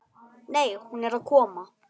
Nei, hún er að koma.